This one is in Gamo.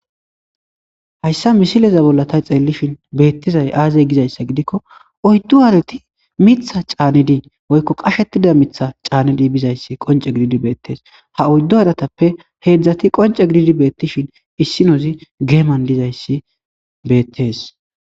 hayssa misileza bolla ta xeellishin beettizay aazey gizayssa gidikko oyddu aaleti mitha caanedii woykko qashettida mitha caanedi bizayssi qonce gididi beettees ha oyddu adatappe heedzdzati qonce gididi beettishin issinozi geeman dizayssi beettees